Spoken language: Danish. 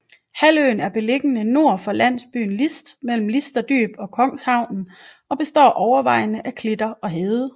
Halvøen er beliggende nord for landsbyen List mellem Listerdyb og Kongshavnen og består overvejende af klitter og hede